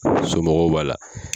So b'a la